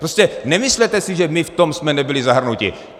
Prostě nemyslete si, že my v tom jsme nebyli zahrnuti